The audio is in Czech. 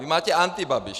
Vy máte antibabiš!